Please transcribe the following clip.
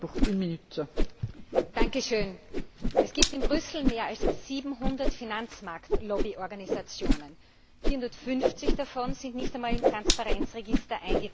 Frau Präsidentin! Es gibt in Brüssel mehr als 700 Finanzmarkt Lobbyorganisationen. 450 davon sind nicht einmal im Transparenz Register eingetragen.